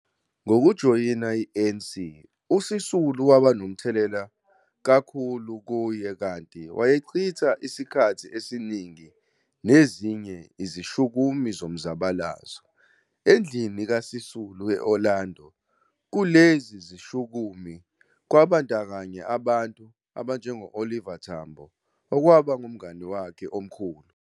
Ngokujoyina i-ANC, uSisulu waba nomthelela kakhulu kuye, kanti wayechitha isikhathi esiningi nezinye izishukumi ngomzabalazo, endlini kaSisulu eOrlando, kulezi zishukumi kubandakanya abantu abanjengo-Oliver Tambo. okwaba ngumngani wakhe omkhulu.